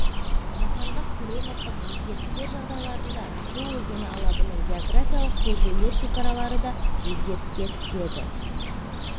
жаһандық климаттық өзгерістер жағдайларында шу өзені алабының географиялық белдеулер шекаралары да өзгеріске түседі